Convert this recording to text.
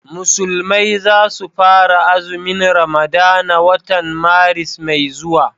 musulmai za su fara azumin ramadana watan Maris mai zuwa